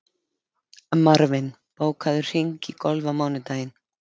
Marvin, bókaðu hring í golf á mánudaginn.